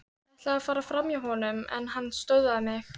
Ætlaði að fara framhjá honum en hann stöðvaði mig.